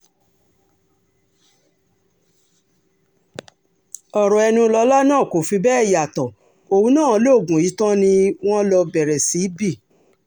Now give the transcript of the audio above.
ọ̀rọ̀ ẹnilọ́lá náà kò fi bẹ́ẹ̀ yàtọ̀ òun náà lóògùn yìí tán ni wọ́n lọ bẹ̀rẹ̀ sí í bí